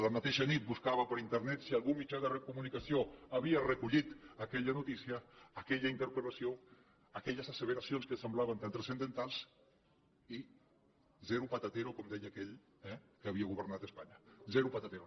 la mateixa nit buscava per internet si al·gun mitjà de comunicació havia recollit aquella notí·cia aquella interpel·lació aquelles asseveracions que semblaven tan transcendentals i zero patatero com deia aquell que havia governat espanya zero patatero